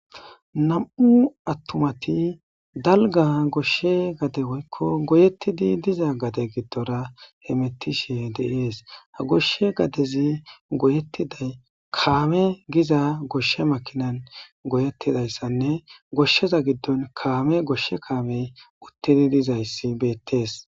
nam7u attumati dalga goshshe gade woykko goyettidi diza gade giddora he mettishe deiees ha goshshe gadezi goyettiday kaame giza goshshe makinan goyeettidayssanne goshsheza giddon kaame goshshe kaamey uttini dizayssi beettees